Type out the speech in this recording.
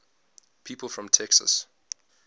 people from texas